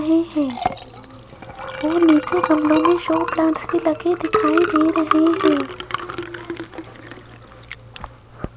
है ओ नीचे गमलों में शो प्लांट्स भी लगे दिखाई दे रहे हैं।